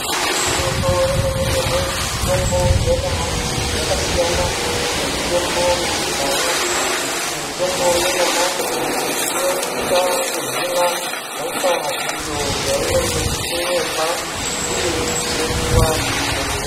Igwinyiso remene mene mitombo yenyamashi yakasiyana nemitombo yekudhaya ngekuti mitombo yanyamashi inosisa kuhina hosha iyo yainenge ichimwirwa uye tinoipuwa kuzvibhehleya.